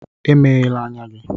Emeghèlà ányá gị!